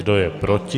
Kdo je proti?